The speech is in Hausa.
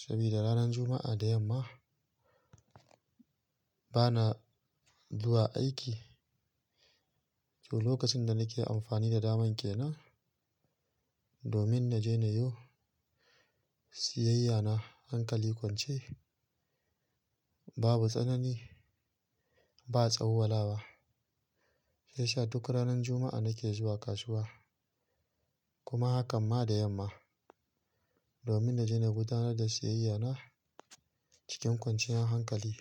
Sabida ranar Juma'a da yamma bana zuwa aiki, to lokacin da nake amfani da daman ke nan domin na je na yo siyayya na hankali kwance, babu tsanani, ba tsawwa lawa. Sai sha duk ranar Juma'a nake zuwa kasuwa kuma hakan ma da yamma domin na je na gudanar da siyayya na cikin kwanciyar hankali.